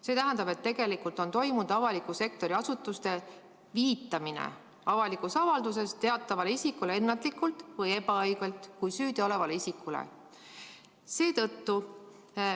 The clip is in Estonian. See tähendab, et tegelikult on avaliku sektori asutuste avalikes avaldustes viidatud teatavatele isikutele ennatlikult või ebaõigelt kui süüdiolevatele isikutele.